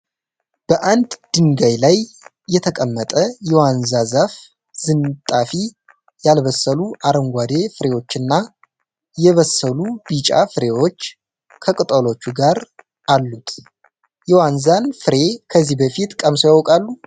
በአንድ ድንጋይ ላይ የተቀመጠ የዋንዛ ዛፍ ዝንጣፊ፤ ያልበሰሉ አረንጓዴ ፍሬዎችና የበሰሉ ቢጫ ፍሬዎች ከቅጠሎቹ ጋር አሉት፡፡ የዋንዛን ፍሬ ከዚህ በፊት ቀምሰው ያውቃሉ?